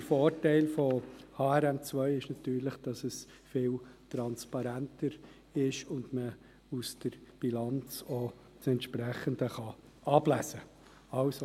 Der Vorteil von HRM2 ist, dass es viel transparenter ist und aus der Bilanz auch das Entsprechende abgelesen werden kann.